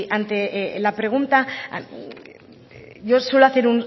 ante la pregunta yo suelo hacer